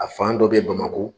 A fan dɔ bɛ Bamakɔ